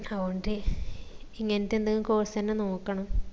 അവോണ്ട് ഇങ്ങനത്തെ എന്തേങ്കു course അന്നെ നോക്കണം